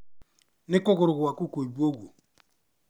Nĩ kũgũrũ gwaku kũimbu ũguo..?